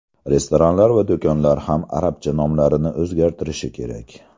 Restoranlar va do‘konlar ham arabcha nomlarini o‘zgartirishi kerak.